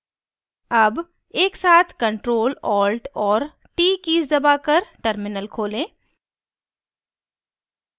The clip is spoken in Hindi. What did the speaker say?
अब एकसाथ ctrl alt और t कीज़ दबाकर terminal खोलें